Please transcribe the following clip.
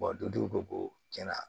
dutigiw ko tiɲɛna